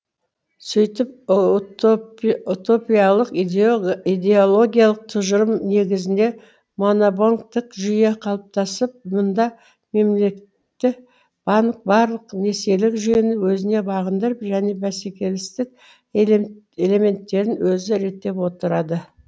сөйтіп утопиялық идеологиялық тұжырым негізінде монобанктік жүйе қалыптасып мұнда мемлекетті банк барлық несиелік жүйені өзіне бағындырып және бәсекелестік элементтерін өзі реттеп отырады